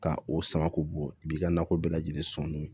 Ka o sama k'o bɔ i b'i ka nakɔ bɛɛ lajɛlen sɔn n'o ye